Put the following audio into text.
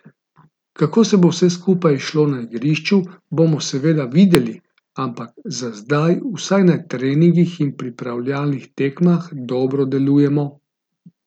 Kako se bo vse skupaj izšlo na igrišču, bomo seveda videli, ampak za zdaj vsaj na treningih in pripravljalnih tekmah dobro delujemo.